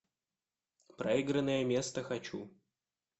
проигранное место хочу